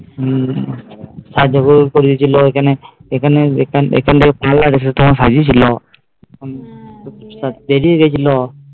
সাজুগুজু করিয়েছিল এখানে এখানে একটা লোক তোমায় সাজিয়েছিল সব বেরিয়ে গিয়েছিলো